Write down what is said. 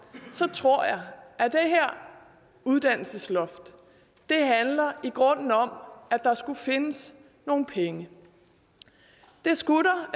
tror jeg at det her uddannelsesloft i grunden handler om at der skulle findes nogle penge det skulle der